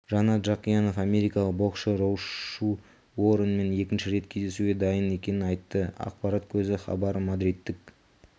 жанат жақиянов америкалық боксшы рошу уорренмен екінші рет кездесуге дайын екенін айтты ақпарат көзі хабар мадридтік